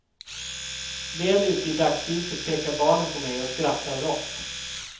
Väl ute i dagsljuset pekar barnen på mig och skrattar rått.